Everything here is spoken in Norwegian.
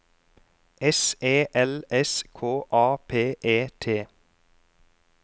S E L S K A P E T